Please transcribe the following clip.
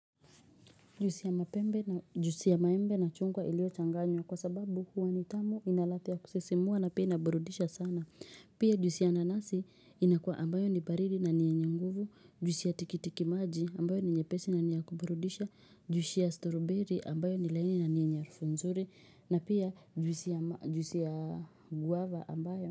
Juisi ya maembe na chungwa ilio changanywa kwa sababu huwa nitamu inaladha kusisimua na pia inaburudisha sana. Pia juisi ya nanasi inakua ambayo ni baridi na ni nyenye nguvu, juisi ya tikitikimaji ambayo ni nyepesi niyakuburudisha, juisi ya stroberi ambayo ni laini na nyenye harufu nzuri na pia juisi ya guava ambayo.